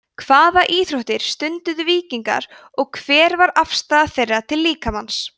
hvaða íþróttir stunduðu víkingar og hver var afstaða þeirra til líkamans